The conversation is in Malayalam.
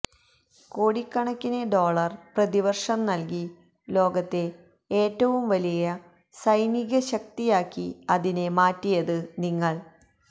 കോടിക്കണക്കിന് ഡോളര് പ്രതിവര്ഷം നല്കി ലോകത്തെ ഏറ്റവും വലിയ സൈനിക ശക്തിയാക്കി അതിനെ മാറ്റിയത് നിങ്ങള്